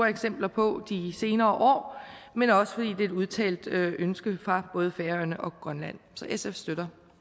eksempler på i de senere år men også fordi det er et udtalt ønske fra både færøerne og grønland så sfs støtter